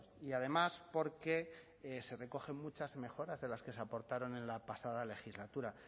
y además porque se recogen muchas mejoras de las que se aportaron en la pasada legislatura